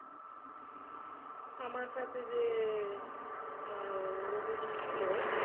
আমার সাথে যে আহ ছিল,